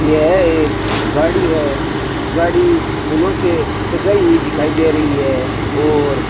यह एक गाड़ी है गाड़ी फूलों से सजाई हुई दिखाई दे रही है और